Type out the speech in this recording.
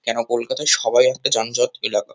কেন কলকাতা সবাই একটা যানজট এলাকা।